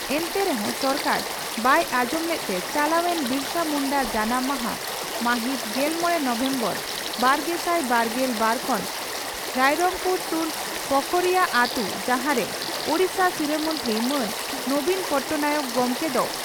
ᱮᱱᱛᱮ ᱨᱮᱦᱚᱸ ᱥᱚᱨᱠᱟᱨ ᱵᱟᱭ ᱟᱸᱡᱚᱢ ᱞᱮᱫᱛᱮ ᱪᱟᱞᱟᱣᱮᱱ ᱵᱤᱨᱥᱟᱹ ᱢᱩᱱᱰᱟᱹ ᱡᱟᱱᱟᱢ ᱢᱟᱦᱟ (ᱢᱟᱹᱦᱤᱛ ᱜᱮᱞᱢᱚᱲᱮ ᱱᱚᱵᱷᱮᱢᱵᱚᱨ ᱵᱟᱨᱜᱮᱥᱟᱭ ᱵᱟᱨᱜᱮᱞ ᱵᱟᱨ ᱠᱷᱚᱱ ᱨᱟᱭᱨᱚᱝᱯᱩᱨ ᱥᱩᱨ ᱯᱚᱠᱷᱳᱨᱤᱭᱟᱹ ᱟᱹᱛᱩ ᱡᱟᱦᱟᱸᱨᱮ ᱳᱰᱤᱥᱟ ᱥᱤᱨᱟᱹ ᱢᱚᱱᱛᱨᱤ ᱢᱟᱱ ᱱᱚᱵᱤᱱ ᱯᱚᱴᱱᱟᱭᱚᱠ ᱜᱚᱢᱠᱮ ᱫᱚ